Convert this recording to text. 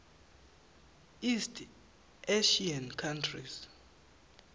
east asian countries